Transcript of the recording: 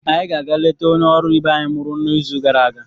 anyị ga-aga letaa onye ọrụ ibe anyị mụrụ n'izu gara aga.